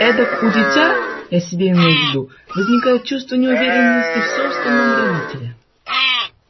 эдак у дитя я себя имею в виду возникает чувство неуверенности в собственном родителе